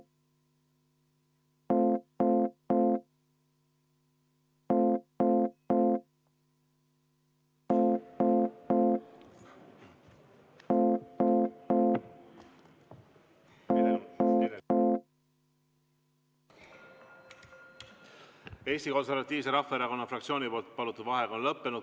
Eesti Konservatiivse Rahvaerakonna fraktsiooni palutud vaheaeg on lõppenud.